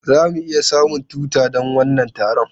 Za mu iya samun tuta don wannan taron?